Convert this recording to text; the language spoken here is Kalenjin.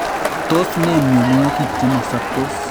Tos ne myonwokik che masaptoos?